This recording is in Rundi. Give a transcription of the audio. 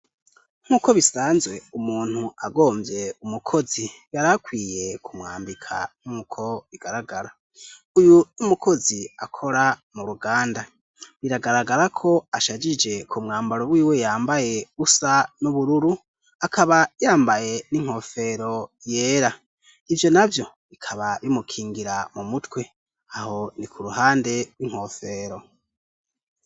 nk'uko bisanzwe umuntu agomvye umukozi yarakwiye kumwambika nk'uko bigaragara uyu 'umukozi akora mu ruganda biragaragara ko ashagije ku mwambaro wiwe yambaye usa n'ubururu akaba yambaye n'inkofero yera ivyo navyo bikaba bimukingira mu mutwe aho ni ku ruhande rw'inkofero